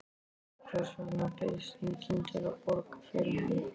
Hvers vegna bauðst enginn til að borga fyrir hann?